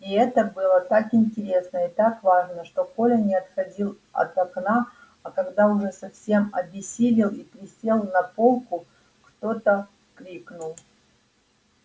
и это было так интересно и так важно что коля не отходил от окна а когда уже совсем обессилел и присел на полку кто-то крикнул